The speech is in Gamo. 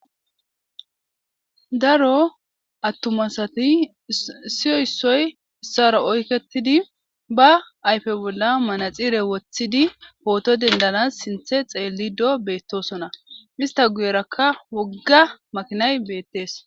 Daro atuma asati issoy issoy isara oyiketidi ba ayipe bolla manaxire wothidi poto denidanas sinithe xelido betosona isita guyeraka makinayi wogay betes